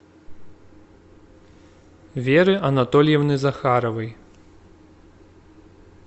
веры анатольевны захаровой